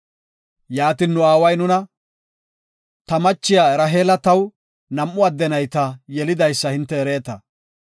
“Yaatin nu aaway nuna, ‘Ta machiya Raheela taw nam7u adde nayta yelidaysa hinte ereeta.